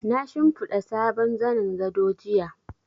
Na shimfiɗa sabon zanin gado jiya.